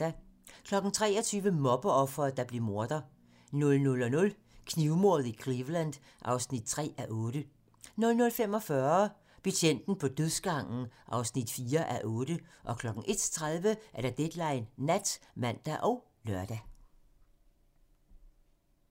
23:00: Mobbeofret, der blev morder 00:00: Knivmordet i Cleveland (3:8) 00:45: Betjenten på dødsgangen (4:8) 01:30: Deadline Nat (man og lør)